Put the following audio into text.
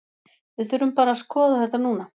Við þurfum bara að skoða þetta núna.